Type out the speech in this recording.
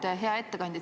Hea ettekandja!